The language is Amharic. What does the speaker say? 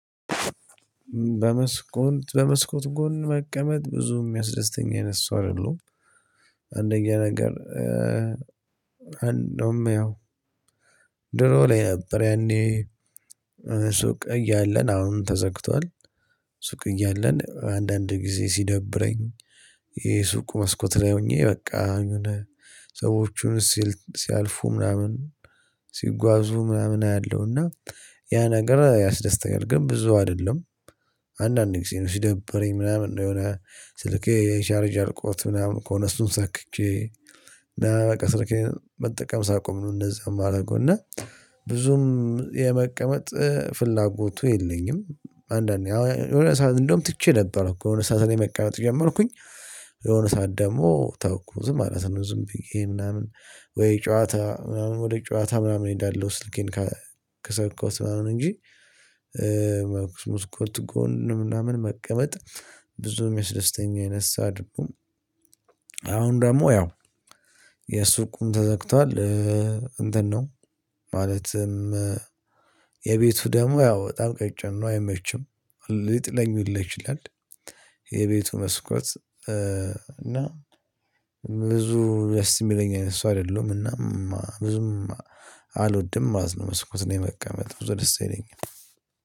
በመስኮት በመስኮት ጎን መቀመጥ ብዙም የሚያስደስተኝ አይነት ሰው አይደለም አንደኛ ነገር እንደውም ያው ድሮ ላይ ነበር ያኔ ሱቅ እያለን አሁን ተዘግቷል ሱቅ እያለን አንዳንድ ጊዜ ሲደብረኝ ይሄ ሱቅ መስኮት ላይ ሆኜ በቃ የሆነ ሰዎቹን ሲያልፉ ምናምን ሲጓዙ ምናምን አያለሁና ያ ነገር ያስደስኛል ግን ብዙ አይደለም። አንዳንዴ ጊዜ ነው ሲደብረኝ ምናምን ነው የሆነ ስልኬ የቻርጅ አልቆት ምናምን ከሆነ እሱን ሰክቼ እና በቃ ስለኬ መጠቀም ሳቆም ነው እንደዛ የማደርገው እና ብዙም የመቀመጥ ፍላጎቱ የለኝም። እንደውም የለሆነ ሰዓት ትቼ ነበር እኮ የሆነ ሰዓትን የመቀመጥ ጀመርኩኝ የሆነ ሳትል ደግሞ ተውኩ ዝም ማለት ነው ዝም ብዬ ምናምን ወይ ጨዋታ ምናምን ወደ ጨዋታ ምናምን ይዳለው ስልኬን ከሰካሁት ምናምን እንጂ መስኮት ጎን ምናምን መቀመጥ ብዙም የሚያስደስተኝ አይነት ሰው አይደሁም። የሱ ቁም ተዘግቷል እንትን ነው ማለትም የቤቱ ደሞ ያው በጣም ቀጭን ነው አይመችም። ሊጥለኙለት ይችላል። የቤቱ መስኮት እና ብዙ ደስ የሚለኝ አይነት ሰው አይደለሁም እና ብዙም አልወድም ማለት ነውጨመስኮት ነው የመቀመጥኩት ደስ ይለኛል